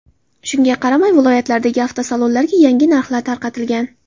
Shunga qaramay, viloyatlardagi avtosalonlarga yangi narxlar tarqatilgan.